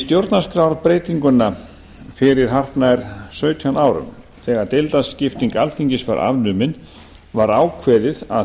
stjórnarskrárbreytinguna fyrir sextán árum þegar deildaskipting alþingis var afnumin var ákveðið að